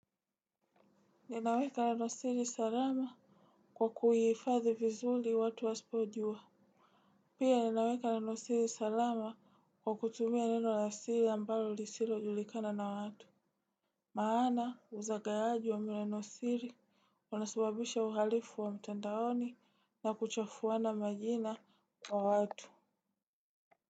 Ninaweka nenosiri salama kwa kuhiifadhi vizuli watu aspo ujua. Pia ninaweka nenosiri salama kwa kutumia neno la siri ambalo lisilo julikana na watu. Maana uzagawaji wa maneno siri unasababisha uhalifu wa mtandaoni na kuchafuana majina wa watu.